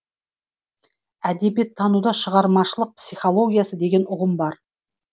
әдебиеттануда шығармашылық психологиясы деген ұғым бар